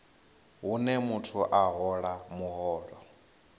hune muthu a hola muholo